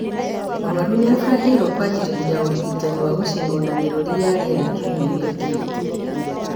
Mũrwaru nĩabangĩirwo kwanjĩrĩria ũrigitani wa gũcinwo na mĩrũri ya rĩera kiumia gĩũkĩte